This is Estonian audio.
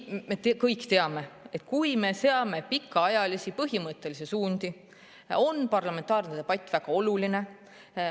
Me kõik teame, et kui me seame pikaajalisi põhimõttelisi suundi, on parlamentaarne debatt väga oluline.